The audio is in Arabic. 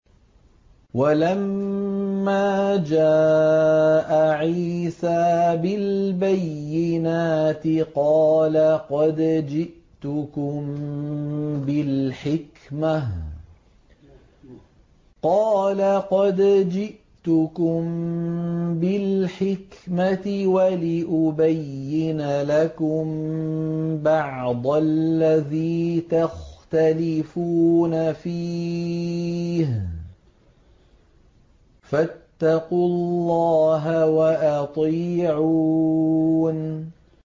وَلَمَّا جَاءَ عِيسَىٰ بِالْبَيِّنَاتِ قَالَ قَدْ جِئْتُكُم بِالْحِكْمَةِ وَلِأُبَيِّنَ لَكُم بَعْضَ الَّذِي تَخْتَلِفُونَ فِيهِ ۖ فَاتَّقُوا اللَّهَ وَأَطِيعُونِ